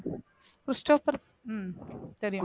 Christopher ஹம் தெரியும்